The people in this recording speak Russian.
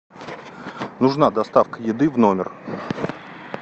нужна доставка еды в номер